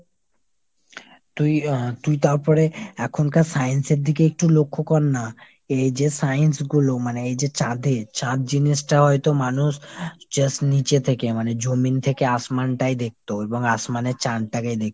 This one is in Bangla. তুই আহ তুই তারপরে এখনকার science এর দিকে একটু লক্ষ্য কর না। এই যে science গুলো মানে এই যে চাঁদে, চাঁদ জিনিসটা হয়তো মানুষ just নীচে থেকে মানে জমিন থেকে lang:ForeinHindi টাই দেখতো। এবংlang:ForeinHindi এর চাঁদটাকেই দেখতো।